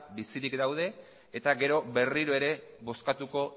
bizirik daude eta gero berriro ere bozkatuko